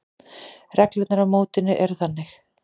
Reglurnar á mótinu eru þannig: